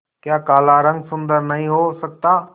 क्या काला रंग सुंदर नहीं हो सकता